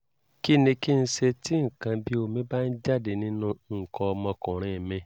kí ni kí n ṣe tí nǹkan bí omi bá ń jáde nínú nǹkan ọmọkùnrin mi?